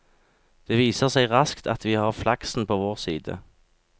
Det viser seg raskt at vi har flaksen på vår side.